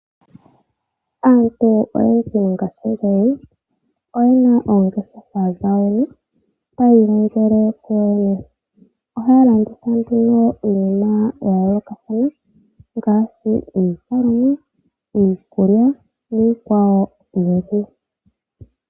Aantu oyendji mongashingeyi oyena oongeshefa dhawo tayi ilongele kuyo yene. Ohaya landitha nduno iinima ya yoolokathana ngaashi, iilikolomwa, iikulya niikwawo oyindji.